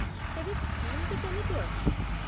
ତେବେ ସ୍କିମ୍‌ଟି କେମିତି ଅଛି ?